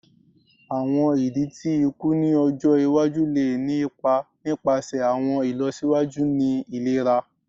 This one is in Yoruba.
Awọn idi ti iku ni ọjọ iwaju le ni ipa nipasẹ awọn ilọsiwaju ni ilera